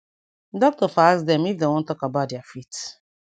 doctor for ask dem if dem wan talk about about dia faith.